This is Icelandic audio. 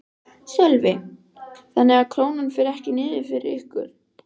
Sölvi: Þannig að Krónan fer ekki niður fyrir ykkur?